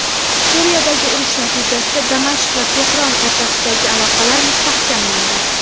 Suriyadagi urush natijasida Damashq va Tehron o‘rtasidagi aloqalar mustahkamlandi.